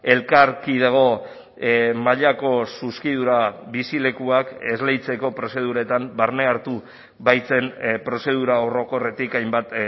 elkarkidego mailako zuzkidura bizilekuak esleitzeko prozeduretan barne hartu baitzen prozedura orokorretik hainbat